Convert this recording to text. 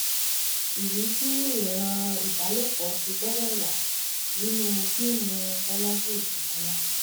ìdí tí ìran ìbálòpọ̀ ṣe gbọ́dọ̀ wà nínú fíìmù bọ́lajì ògúnmọ́lá